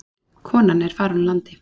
Konan er farin úr landi.